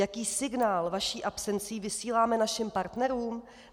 Jaký signál vaší absencí vysíláme našim partnerům?